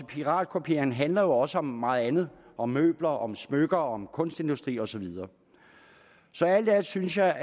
piratkopiering handler jo også om meget andet om møbler om smykker om kunstindustri og så videre så alt i alt synes jeg